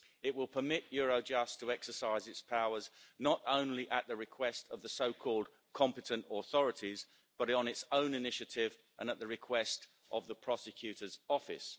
It will permit Eurojust to exercise its powers not only at the request of the so-called competent authorities', but on its own initiative and at the request of the Prosecutor's Office.